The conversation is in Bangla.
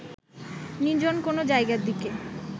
নির্জন কোনো জায়গার দিকে